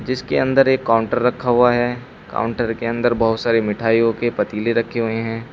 जिसके अंदर एक काउंटर रखा हुआ है काउंटर के अंदर बहुत सारी मिठाइयों के पतीले रखे हुए हैं।